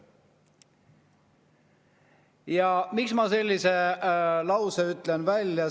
Ja miks ma sellise lause välja ütlesin?